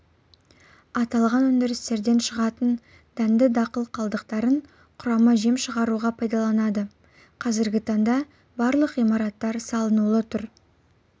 аталған өндірістерден шығатын дәнді дақыл қалдықтарын құрама жем шығаруға пайдаланады қазіргі таңда барлық ғимараттар салынулы тұр